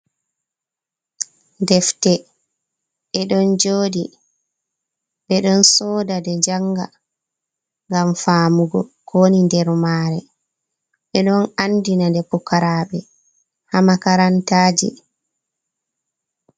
Defte ɗe ɗon jooɗi, ɓe ɗon sooda nde jannga, ngam faamugo kowoni nder maare, ɓe ɗon anndina nde, pukaraaɓe haa makarantaaji.